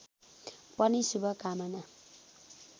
पनि शुभकामना